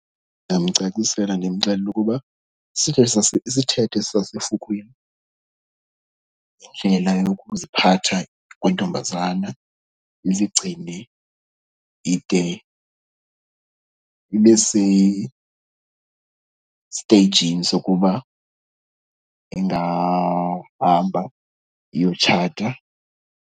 Ndingamcacisela ndimxelele ukuba isithethe sasefukwini, indlela yokuziphatha kwentombazana, izigcine ide ibe sesiteyijini sokuba ingahamba iyotshata.